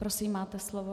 Prosím, máte slovo.